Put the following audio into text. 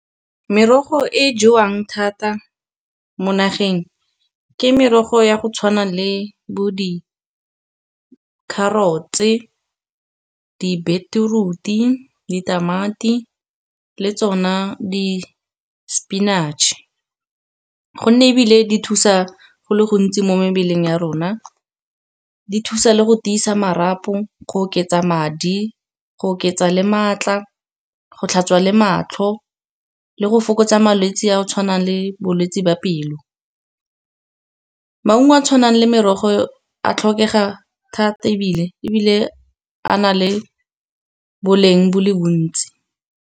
Merogo e jewang thata mo nageng, ke merogo ya go tshwana le bo di-carrots, di-beetroot-i, ditamati le tsona di-spinach-e. Gonne ebile di thusa go le gontsi mo mebeleng ya rona, di thusa le go tiisa marapo, go oketsa madi, go oketsa le maatla, go tlhatswa le matlho, le go fokotsa malwetse a tshwanang le bolwetsi ba pelo. Maungo a a tshwanang le merogo a tlhokega thata ebile a na le boleng bole bontsi.